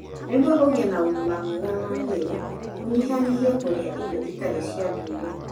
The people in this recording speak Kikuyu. Nĩguo ũgĩe na ũgima mwega wa mwĩrĩ, ũnyihanyihĩrie kũrĩa irio itarĩ cia ndũire.